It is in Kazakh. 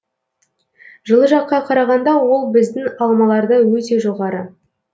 жылы жаққа қарағанда ол біздің алмаларда өте жоғары